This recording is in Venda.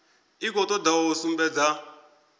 i khou toda u sumbedza